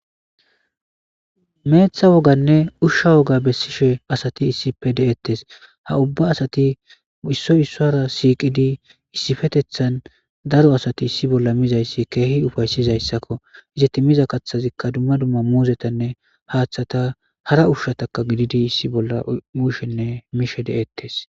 meeththa woganne ushsha woga bessishe asati issipe deettes ha ubba asati issoy issora siiqidi issifetethan daro asati issi bolla mizayssi keehi ufaysizayssakko iza ti miza kaththazikka dumma dumma muuzetanne haaththata hara ushshataka gididi issi bolla mushenne miishe de7ettes